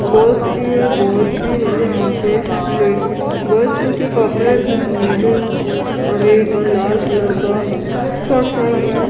Girls भी है boys भी है यहां पे ले गर्ल्स के कपड़े हैं नीले हरे और लाल कलर का स्कर्ट्स सेम है।